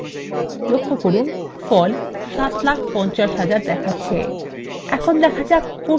লক্ষ্য করুন ফল ৭ ৫০ ০০০ দেখাচ্ছে